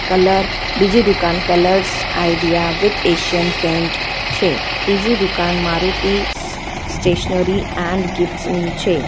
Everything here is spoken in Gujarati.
કલર બીજી દુકાન colours idea with Asian paint છે ત્રીજી દુકાન મારુતિ સ્ટેશનરી એન્ડ ગીફ્ટસ ની છે.